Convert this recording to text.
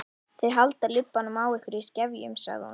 Þau halda lubbanum á ykkur í skefjum, sagði hún.